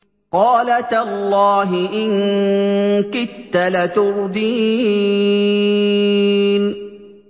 قَالَ تَاللَّهِ إِن كِدتَّ لَتُرْدِينِ